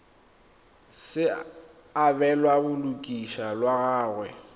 se abelwa balosika lwa gagwe